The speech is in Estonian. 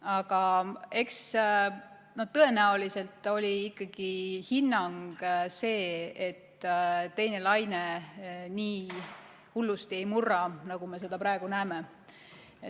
Aga eks tõenäoliselt oli ikkagi hinnang see, et teine laine nii hullusti ei murra, nagu me seda praegu näeme.